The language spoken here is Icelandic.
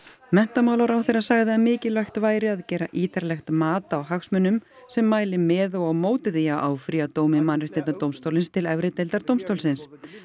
menntamálaráðherra sagði að mikilvægt væri að gera ítarlegt mat á hagsmunum sem mæli með og á móti því að áfrýja dómi Mannréttindadómstólsins til efri deildar dómstólsins